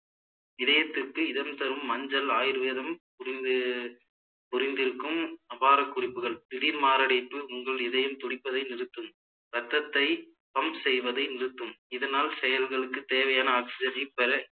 இதயத்துக்கு இதம் தரும் மஞ்சள் ஆயுர்வேதம் புரிந்து புரிந்திருக்கும் அவ்வாறு குறிப்புகள் திடீர் மாரடைப்பு உங்கள் இதயம் துடிப்பதை நிறுத்தும் இரத்தத்தை pump செய்வதை நிறுத்தும் இதனால் செயல்களுக்கு தேவையான oxygen ஐ பெற